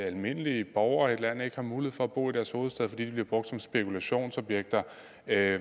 almindelige borgere i et land ikke har mulighed for at bo i deres hovedstad fordi de bliver brugt som spekulationsobjekter af